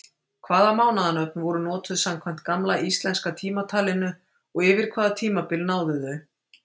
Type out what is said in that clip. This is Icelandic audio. Hvaða mánaðanöfn voru notuð samkvæmt gamla íslenska tímatalinu og yfir hvaða tímabil náðu þau?